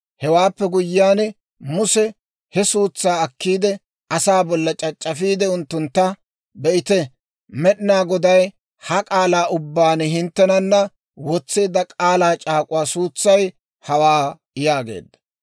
Hewaappe guyyiyaan Muse he suutsaa akkiide, asaa bolla c'ac'c'afiide unttuntta, «Be'ite, Med'inaa Goday ha k'aalaa ubbaan hinttenana wotseedda k'aalaa c'aak'uwaa suutsay hawaa» yaageedda.